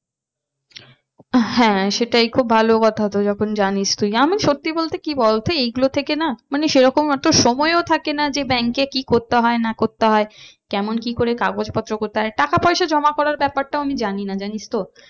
হ্যাঁ সেটাই খুব ভালো কথা তো যখন জানিস তুই আমি সত্যি বলতে কি বলতো এইগুলো থেকে না মানে সে রকম অত সময়ও থাকে না যে bank এ কি করতে হয় না করতে হয়। কেমন কি করে কাগজপত্র করতে হয় টাকা পয়সা জমা করার ব্যাপারটাও আমি জানি না জানিস তো।